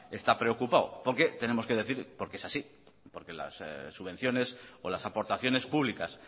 está preocupado porque tenemos que decir porque es así las subvenciones o las aportaciones públicas